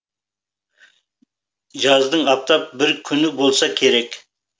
жаздың аптап бір күні болса керек